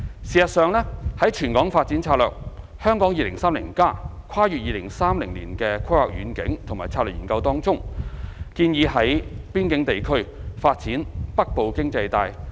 事實上，在全港發展策略《香港 2030+： 跨越2030年的規劃遠景與策略》研究當中，建議在邊境地區發展"北部經濟帶"。